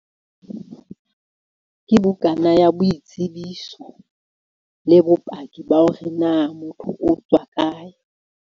Ke bukana ya boitsebiso le bopaki ba hore na motho o tswa kae.